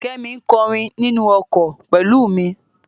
Kẹ́mi ń kọrin nínú ọkọ̀ pẹ̀lú mi.